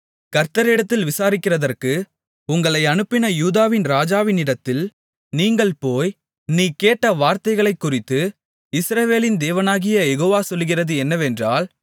கர்த்தரிடத்தில் விசாரிக்கிறதற்கு உங்களை அனுப்பின யூதாவின் ராஜாவினிடத்தில் நீங்கள் போய் நீ கேட்ட வார்த்தைகளைக்குறித்து இஸ்ரவேலின் தேவனாகிய யெகோவா சொல்லுகிறது என்னவென்றால்